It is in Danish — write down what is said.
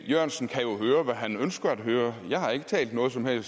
her med at man